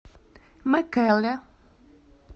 мэкэле